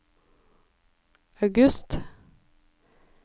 august